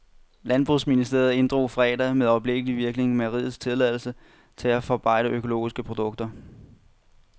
Landbrugsministeriet inddrog fredag med øjeblikkelig virkning mejeriets tilladelse til at forarbejde økologiske produkter.